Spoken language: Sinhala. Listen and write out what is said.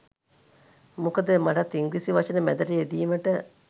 මොකද මටත් ඉංග්‍රීසි වචන මැදට යෙදීමට